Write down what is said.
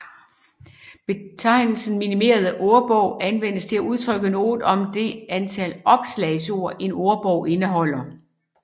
Betegnelsen minimerende ordbog anvendes til at udtrykke noget om det antal opslagsord en ordbog indeholder